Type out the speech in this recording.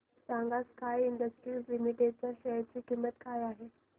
सांगा sky industries limited च्या share ची किंमत काय आहे